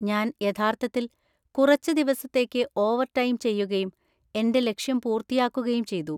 ഞാൻ യഥാർത്ഥത്തിൽ കുറച്ച് ദിവസത്തേക്ക് ഓവർടൈം ചെയ്യുകയും എന്‍റെ ലക്ഷ്യം പൂർത്തിയാക്കുകയും ചെയ്തു.